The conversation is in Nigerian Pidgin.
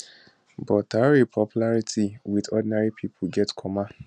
but traor popularity wit ordinary pipo get comma